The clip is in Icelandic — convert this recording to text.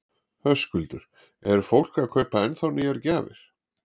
Höskuldur: Er fólk að kaupa ennþá nýjar gjafir?